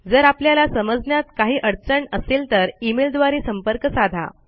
जर आपल्याला समजण्यात काही अडचण असेल तर e मेल द्वारे संपर्क साधा